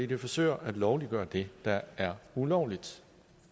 det forsøger at lovliggøre det der er ulovligt